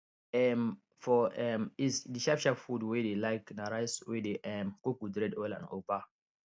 um for um east d sharp sharp food wey dey like na rice wey dey um cook with red oil and ugba